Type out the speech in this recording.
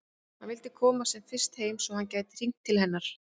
Hann vildi komast sem fyrst heim svo að hann gæti hringt til hennar.